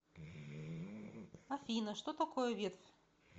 афина что такое ветвь